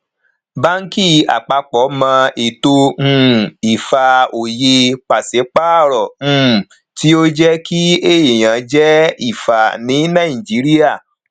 banki àpapọ mọ eto um ifá òye pàṣẹ paro um tí oje kí ẹyán je ifá ní naijiria um